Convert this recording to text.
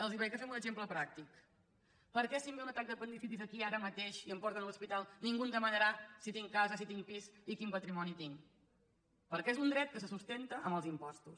els ho faig amb un exemple pràctic per què si em ve un atac d’apendicitis aquí ara mateix i em porten a l’hospital ningú em demanarà si tinc casa si tinc pis i quin patrimoni tinc perquè és un dret que se sustenta amb els impostos